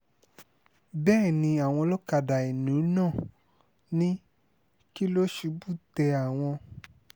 bẹ́ẹ̀ ni àwọn ọlọ́kadà ìlú náà ní kí ló ṣubú tẹ àwọn